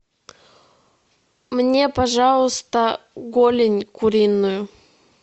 мне пожалуйста голень куриную